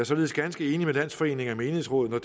således ganske enig med landsforeningen af menighedsråd når